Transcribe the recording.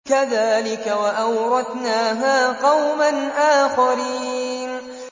كَذَٰلِكَ ۖ وَأَوْرَثْنَاهَا قَوْمًا آخَرِينَ